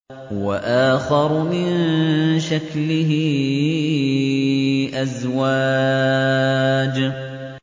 وَآخَرُ مِن شَكْلِهِ أَزْوَاجٌ